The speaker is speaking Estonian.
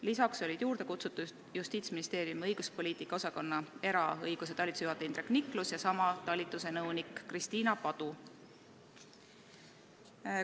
Lisaks olid kutsutud Justiitsministeeriumi õiguspoliitika osakonna eraõiguse talituse juhataja Indrek Niklus ja sama talituse nõunik Kristiina Padu.